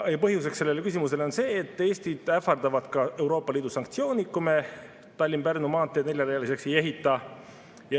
Selle küsimuse põhjus on see, et Eestit ähvardavad ka Euroopa Liidu sanktsioonid, kui me Tallinna–Pärnu maanteed neljarealiseks ei ehita.